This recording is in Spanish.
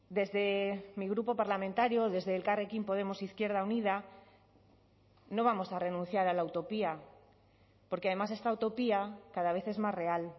desde mi grupo parlamentario desde elkarrekin podemos izquierda unida no vamos a renunciar a la utopía porque además esta utopía cada vez es más real